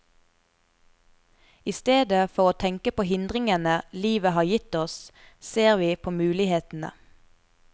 I stedet for å tenke på hindringene livet har gitt oss, ser vi på mulighetene.